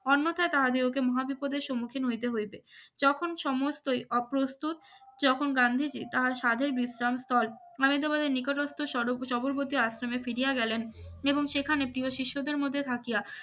অন্নথা তাহাদিগকে মহা বিপদের সম্মুখীন হতে হইবে যখন সমস্ত অপ্রস্তুত যখন গান্ধীজি, তাহার সাধের বিশ্বাস স্থল মালাই দাবাদের নিকটত্ব স্বরূপ সবলবতি আশ্রমে ফিরিয়া গেলেন এবং সেখানে প্রিয় শিষ্যদের মধ্যে থাকিয়া